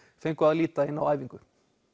fengu að líta inn á æfingu